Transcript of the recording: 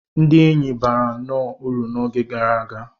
Ndị enyi bara nnọọ uru n'oge gara aga.